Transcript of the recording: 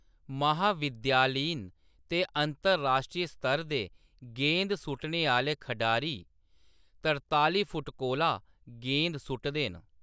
महाविद्यालयीन ते अंतर-राश्ट्री स्तर दे गेंद सु'ट्टने आह्‌‌‌ले खढारी त्रतालीं फुट्ट कोला गेंद सु'टदे न।